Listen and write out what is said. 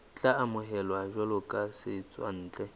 tla amohelwa jwalo ka setswantle